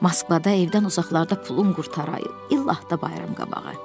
Moskvada evdən uzaqlarda pulum qurtarıb, illah da bayram qabağı.